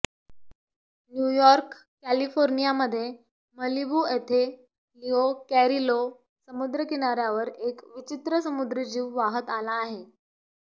New York कॅलिफोर्नियामध्ये Malibu येथे Leo Carrillo समुद्रकिनाऱ्यावर एक विचित्र समुद्री जीव वाहत आला आहे